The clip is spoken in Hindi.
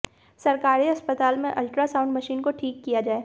सरकारी अस्पताल में अल्ट्रासाउंड मशीन को ठीक किया जाए